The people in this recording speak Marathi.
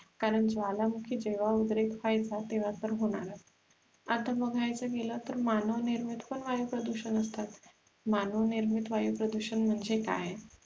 कारण ज्वालमुखी जेव्हा उद्रेक व्हायचं तेव्हा तर होणारच आता बघायचं गेल तर मानवनिर्मित पण वायु प्रदुषण असतात, मानवनिर्मित वायु प्रदुषण म्हणजे काय?